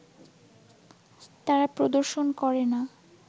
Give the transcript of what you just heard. তারা প্রদর্শন করে না